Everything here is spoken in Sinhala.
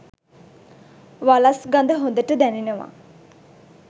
වලස් ගඳ හොඳට දැනෙනවා.